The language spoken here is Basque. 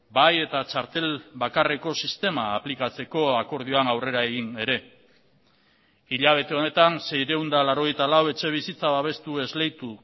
bai eta txartel bakarreko sistema aplikatzeko akordioan aurrera egin ere hilabete honetan seiehun eta laurogeita lau etxebizitza babestu esleitu